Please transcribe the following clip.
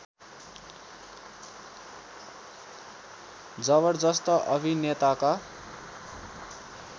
जबरजस्त अभिनेताका